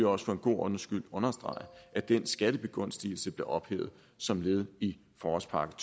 også for en god ordens skyld understrege at den skattebegunstigelse blev ophævet som led i forårspakke